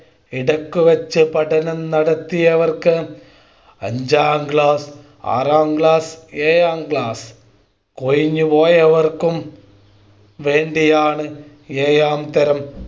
ഇടയ്ക്ക് വച്ച് പഠനം നടത്തിയവർക്ക് അഞ്ചാം ക്ലാസ് ആറാം ക്ലാസ് ഏഴാം ക്ലാസ് കൊഴിഞ്ഞ് പോയവർക്കും വേണ്ടിയാണ് ഏഴാംതരം